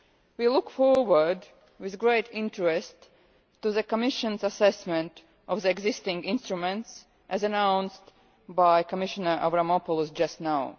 We look forward with great interest to the Commission's assessment of the existing instruments as announced by Commissioner Avramopoulos just now.